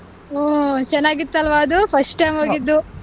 ಹ್ಮ್ ಚೆನ್ನಾಗಿತ್ತು ಅಲ್ವಾ ಅದು first time ಹೋಗಿದ್ದು.